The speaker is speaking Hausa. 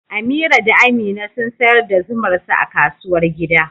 Amira da Amina sun sayar da zumar su a kasuwar gida.